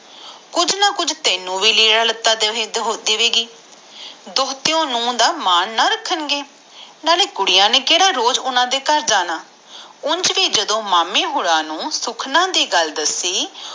ਨਾਲੇ ਤੈਨੂੰ ਵੀ ਕੁਜ ਲੀਰਾਂ ਲਤਾ ਦਵੇਗੀ ਨਾਲੇ ਜਦੋ ਓਹਨਾ ਨੂੰ ਸੁਖ ਵਾਲੀ ਗਲਕ ਦਸਿਉਈ ਤਾ ਉਹ